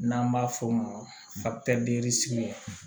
N'an b'a f'o ma